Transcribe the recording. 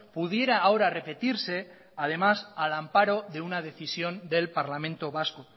pudiera ahora repetirse además al amparo de una decisión del parlamento vasco